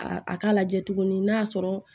A a k'a lajɛ tuguni n'a y'a sɔrɔ